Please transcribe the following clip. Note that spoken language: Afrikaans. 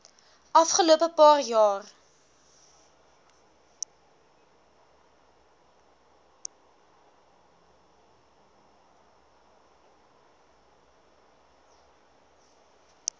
afgelope paar jaar